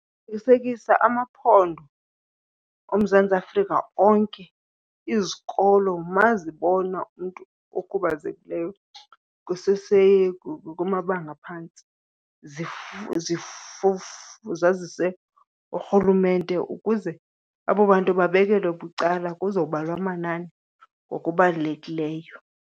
Qininisekisa amaphondo oMzantsi Afrika onke, izikolo uma zibona umntu okhubazekileyo kusese kumabanga aphantsi zazise urhulumente ukuze abo bantu babekelwe bucala kuzobalwa amanani okubalulekileyo.